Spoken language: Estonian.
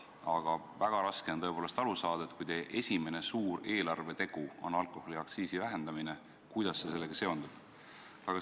Aga väga raske on aru saada, et kui teie esimene suur eelarvetegu on alkoholiaktsiisi vähendamine, siis kuidas see sellega seondub.